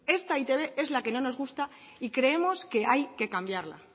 esta e i te be es la que no nos gusta y creemos que hay que cambiarla